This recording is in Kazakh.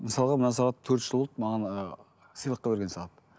мысалға мына сағат төрт жыл болды маған ыыы сыйлыққа берген сағат